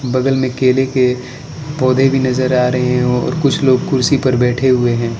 बगल में केले के पौधे भी नजर आ रहे हैं और कुछ लोग कुर्सी पर बैठे हुए हैं।